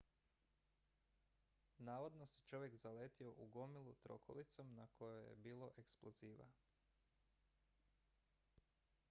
navodno se čovjek zaletio u gomilu trokolicom na kojoj je bilo eksploziva